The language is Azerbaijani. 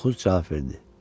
Korkuz cavab verdi.